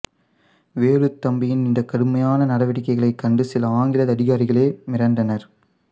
வேலுத்தம்பியின் இந்த கடுமையான நடவடிக்கைகளைக் கண்டு சில ஆங்கில அதிகாரிகளே மிரண்டனர்